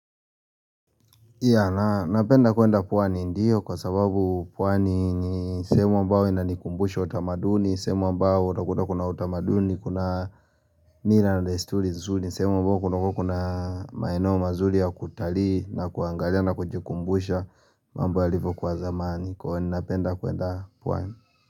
Ya, napenda kuenda pwani ndio kwa sababu pwani ni sehemu ambayo inanikumbusha utamaduni, sehemu ambayo utakuta kuna utamaduni, kuna nila na desturi nzuri, sehemu ambayo kuna maeneo mazuri ya kutalii na kuangalia na kujikumbusha mambo yalivyokuwa zamani, kwa napenda kuenda pwani.